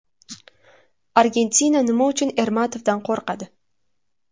Argentina nima uchun Ermatovdan qo‘rqadi?